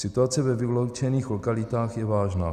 Situace ve vyloučených lokalitách je vážná.